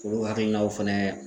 K'u hakilinaw fɛnɛ